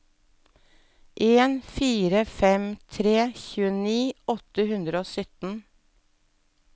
en fire fem tre tjueni åtte hundre og sytten